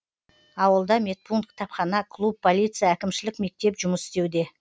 ауылда медпункт кітапхана клуб полиция әкімшілік мектеп жұмыс істеуде